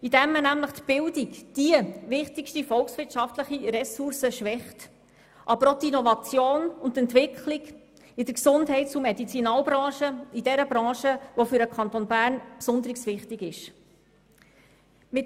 Die Bildung als wichtigste volkswirtschaftliche Ressource wird geschwächt, aber auch die Innovation in der Gesundheits- und Medizinalbranche, einer Branche, die für den Kanton Bern besonders wichtig ist.